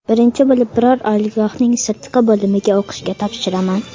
Birinchi bo‘lib, biror oliygohning sirtqi bo‘limiga o‘qishga topshiraman.